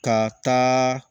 Ka taa